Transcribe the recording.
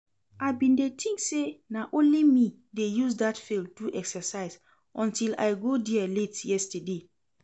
I bin dey think say na only me dey use dat field do exercise untill I go there late yesterday